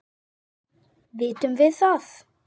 Vitum við það?